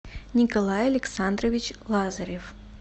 николай александрович лазарев